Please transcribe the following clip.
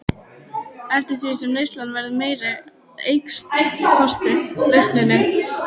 Eftir því sem neyslan verður meiri eykst losunin.